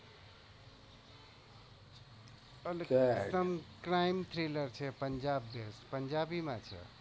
crime thriler છે પંજાબી માં છે